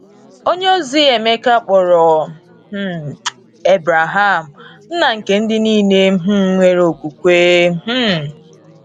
Onyeozi Emeka kpọrọ um Ebreham “ nna nke ndị nile um nwere okwukwe um. ”